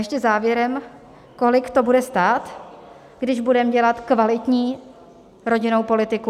Ještě závěrem, kolik to bude stát, když budeme dělat kvalitní rodinnou politiku.